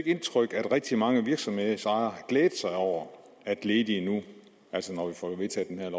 indtryk at rigtig mange virksomhedsejere har glædet sig over at ledige nu altså når vi får vedtaget